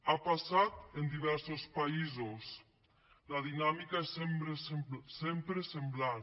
ha passat en diversos països la dinàmica és sempre semblant